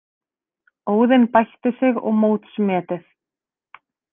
Óðinn bætti sig og mótsmetið